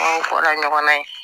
An bɔra ɲɔgɔn na yen